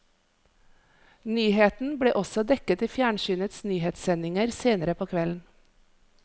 Nyheten ble også dekket i fjernsynets nyhetssendinger senere på kvelden.